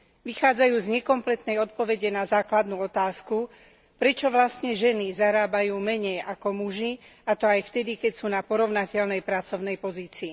Vychádzajú z nekompletnej odpovede na základnú otázku, prečo vlastne ženy zarábajú menej ako muži, a to aj vtedy, keď sú na porovnateľnej pracovnej pozícii.